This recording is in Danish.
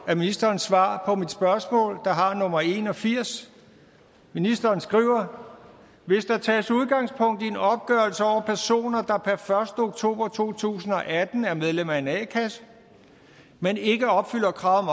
af ministerens svar på mit spørgsmål der har nummer en og firs ministeren skriver hvis der tages udgangspunkt i en opgørelse over personer der per første oktober to tusind og atten er medlem af en a kasse men ikke opfylder krav